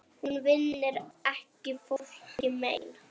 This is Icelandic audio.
Hún vinnur ekki fólki mein.